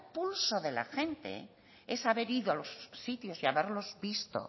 pulso de la gente es haber ido a los sitios y haberlos visto